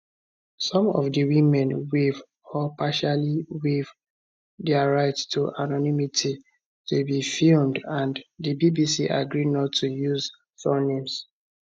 some of di women waive or partially waive dia right to anonymity to be filmed and di bbc agree not to use surnames